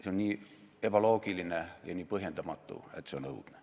See on nii ebaloogiline ja nii põhjendamatu, et see on õudne.